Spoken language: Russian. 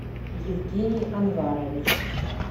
евгений анварович